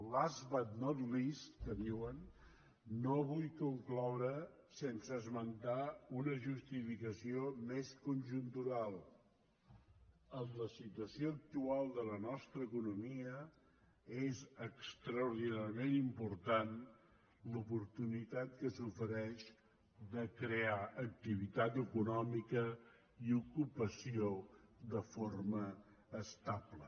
last but not least que diuen no vull concloure sense esmentar una justificació més conjuntural en la situació actual de la nostra economia és extraordinàriament important l’oportunitat que s’ofereix de crear activitat econòmica i ocupació de forma estable